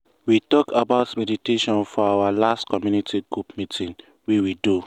we talk about meditation for the our last community group meeting wey we do.